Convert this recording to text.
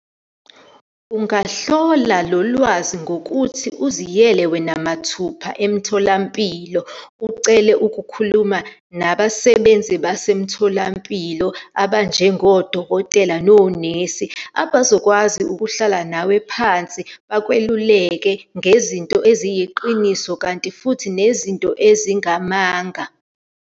Ungahlola lo lwazi ngokuthi uziyele wena mathupha emtholampilo, ucele ukukhuluma nabasebenzi basemtholampilo, abanjengodokotela nonesi, abazokwazi ukuhlala nawe phansi bakweluleke ngezinto eziyiqiniso, kanti futhi nezinto ezingamanga.